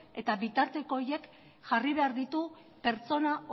eta bitarteko horiek jarri behar ditu pertsona